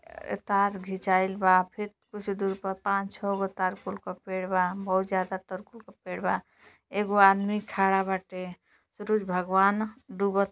अ-तार घिंचाइल बा फिर कुछ दूर पर पांच छौ गो तारकुल के पेड़ बा बहुत ज्यादा तरकुल के पेड़ बा। एगो आदमी खड़ा बाटे। सुरुज भगवान डुबत --